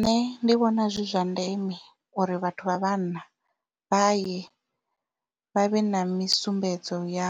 Nṋe ndi vhona zwi zwa ndeme uri vhathu vha vhanna vha ye vha vhe na misumbedzo ya